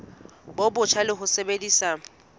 bo botjha le ho sebedisa